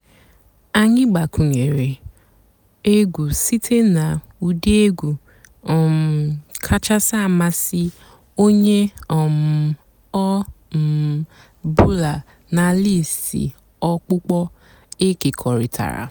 ányị́ gbakwùnyèré ègwú sìté nà ụ́dị́ ègwú um kàchàsị́ àmásị́ ónyé um ọ̀ um bụ́là nà lístì ọ̀kpụ́kpọ́ èkèkọ̀rị́tárá.